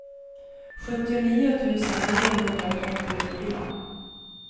sjuttionio tusen niohundratrettiofyra